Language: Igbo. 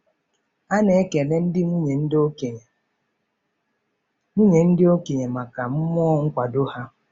A na-ekele ndị nwunye ndị okenye nwunye ndị okenye maka mmụọ nkwado ha.